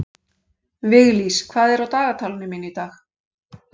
Viglís, hvað er á dagatalinu mínu í dag?